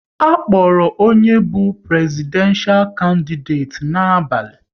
A kpọrọ onye bụ Prezidenshal kandideti n'abalị